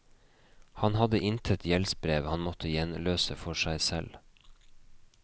Han hadde intet gjeldsbrev han måtte gjenløse for seg selv.